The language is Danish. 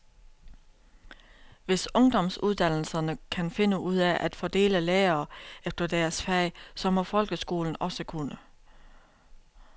Hvis ungdomsuddannelserne kan finde ud af at fordele lærere efter deres fag, så må folkeskolen også kunne.